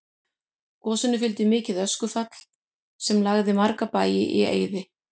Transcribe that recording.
Gosinu fylgdi mikið öskufall sem lagði marga bæi í eyði.